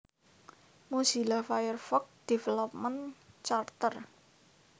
Mozilla Firefox Development Charter